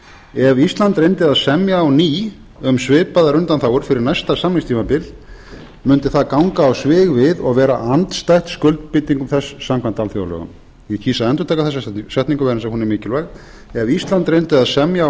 ef ísland reyndi að semja á ný um svipaðar undanþágur fyrir næsta samningstímabil mundi það ganga á svig við og vera andstætt skuldbindingum þess samkvæmt alþjóðalögum ég kýs að endurtaka þessa setningu vegna þess að hún er mikilvæg ef ísland reyndi að semja á ný